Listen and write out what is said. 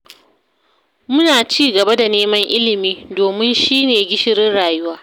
Muna ci gaba da neman ilimi, domin shi ne gishirin rayuwa